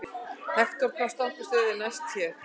Hektor, hvaða stoppistöð er næst mér?